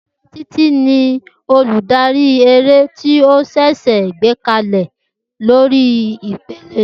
Titi ni oludari ere ti o ṣẹṣẹ gbekalẹ lori ipele.